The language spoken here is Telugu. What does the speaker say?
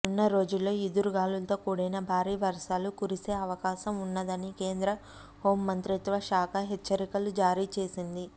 రానున్న రోజుల్లో ఈదురుగాలులతో కూడిన భారీ వర్షాలు కురిసే అవకాశం ఉన్నదని కేంద్ర హోంమంత్రిత్వశాఖ హెచ్చరికలు జారీ చేసింది